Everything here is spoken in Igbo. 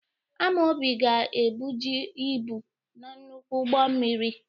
Amaobi ga ebuji ibu n'nnukwu ụgbọ mmiri.